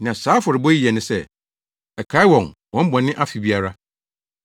Nea saa afɔrebɔ yi yɛ ne sɛ, ɛkae wɔn wɔn bɔne afe biara.